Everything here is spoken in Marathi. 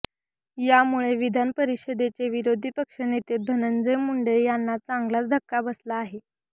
यामुळे विधानपरिषदेचे विरोधी पक्ष नेते धनंजय मुंडे यांना चांगलाच धक्का बसला आहे